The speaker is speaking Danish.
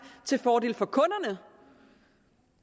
til fordel for kunderne